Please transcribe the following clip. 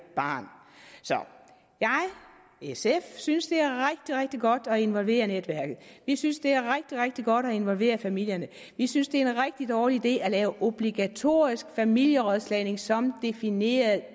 barn så jeg og sf synes det er rigtig rigtig godt at involvere netværket vi synes det er rigtig rigtig godt at involvere familierne vi synes det er en rigtig dårlig idé at lave obligatorisk familierådslagning som defineret